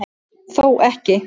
Þó ekki